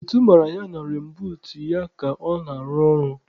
Ntu manyere na reinbuut ya ka ọ na-arụ ọrụ.